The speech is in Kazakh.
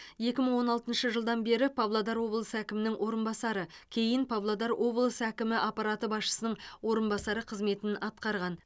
екі мың он алтыншы жылдан бері павлодар облысы әкімінің орынбасары кейін павлодар облысы әкімі аппараты басшысының орынбасары қызметін атқарған